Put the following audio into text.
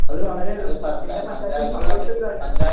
അത് വളരെ...എല്ലാ പഞ്ചായത്തിലും സംഭവിച്ച ഒരു കാര്യമാണ്...